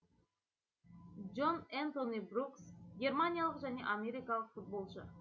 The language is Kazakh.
джон энтони брукс германиялық және америкалық футболшы